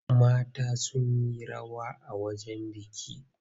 Mata sun yi rawa a wajen biki.